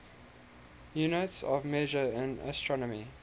units of measure in astronomy